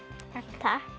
takk